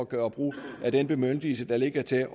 gøre brug af den bemyndigelse der ligger til